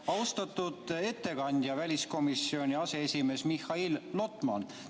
Austatud ettekandja, väliskomisjoni aseesimees Mihhail Lotman!